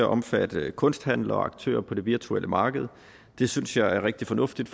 omfatte kunsthandlere og aktører på det virtuelle marked det synes jeg er rigtig fornuftigt